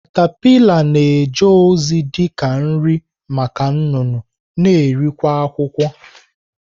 katapila na-eje ozi dị ka nri maka nnụnụ na eri kwa akwukwo.